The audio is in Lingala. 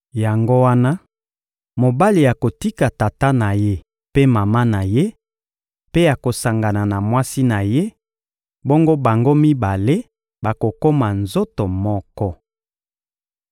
Yango wana, mobali akotika tata na ye mpe mama na ye, mpe akosangana na mwasi na ye, bongo bango mibale bakokoma nzoto moko.